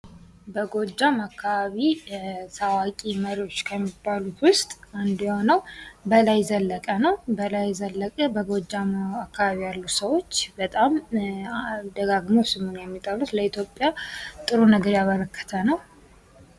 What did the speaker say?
በጎጃም አካባቢ ታዋቂ መሪዎች ከሚባሉት ውስጥ አንዱ የሆነው በላይ ዘለቀ ነው። በላይ ዘለቀ በጎጃም አካባቢ ያሉ ሰዎች በጣም ደጋግመው ስሙን የሚጠሩት ለኢትዮጵያ ጥሩ ነገር ያበረከተ ነው።